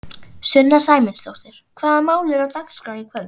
Sunna Sæmundsdóttir: Hvaða mál eru á dagskrá í kvöld?